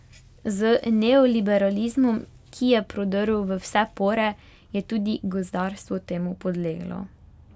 Z neoliberalizmom, ki je prodrl v vse pore, je tudi gozdarstvo temu podleglo.